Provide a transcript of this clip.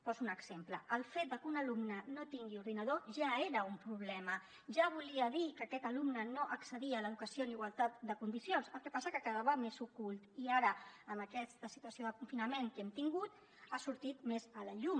poso un exemple el fet de que un alumne no tingui ordinador ja era un problema ja volia dir que aquest alumne no accedia a l’educació en igualtat de condicions el que passa que quedava més ocult i ara amb aquesta situació de confinament que hem tingut ha sortit més a la llum